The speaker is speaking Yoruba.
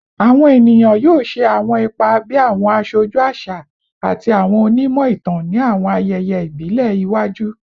Awọn eniyan yoo ṣe awọn ipa bi awọn aṣoju aṣa ati awọn onimọ-itan ni awọn ayẹyẹ ibile iwaju